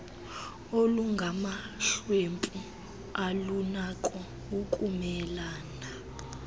olungamahlwempu alunako ukumelane